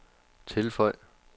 tilføj